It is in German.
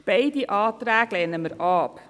Wir lehnen beide Anträge ab.